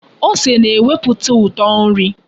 Ose na-eweputa uto nri.